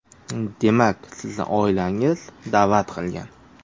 Demak, sizni oilangiz da’vat qilgan?